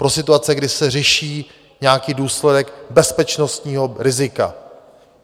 Pro situace, kdy se řeší nějaký důsledek bezpečnostního rizika.